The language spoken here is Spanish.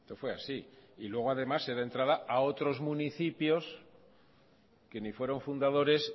fue así y luego además se dé entrada a otros municipios que ni fueron fundadores